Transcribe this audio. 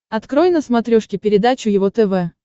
открой на смотрешке передачу его тв